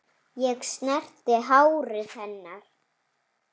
Ég snerti hárið hennar.